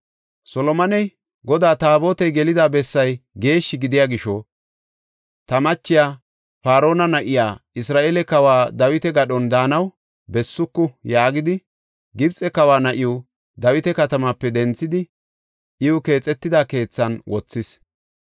Solomoney, “Godaa Taabotey gelida bessay geeshshi gidiya gisho, ta machiya, Faarona na7iya, Isra7eele kawa Dawita gadhon daanaw bessuku” yaagidi, Gibxe kawa na7iw Dawita katamaape denthidi iw keexetida keethan wothis.